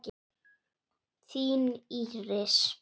Þín, Íris.